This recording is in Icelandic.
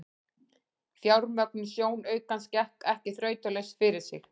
Fjármögnun sjónaukans gekk ekki þrautalaust fyrir sig.